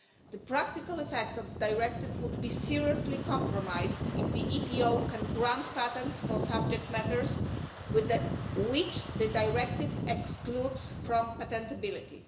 The practical effects of the directive would be seriously compromised if the EPO can grant patents for subject matters which the directive excludes from patentability.